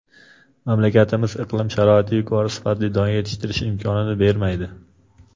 Mamlakatimiz iqlim sharoiti yuqori sifatli don yetishtirish imkonini bermaydi.